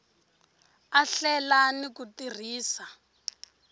a hlela ni ku tirhisa